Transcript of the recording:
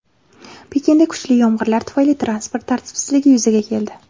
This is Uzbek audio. Pekinda kuchli yomg‘irlar tufayli transport tartibsizligi yuzaga keldi.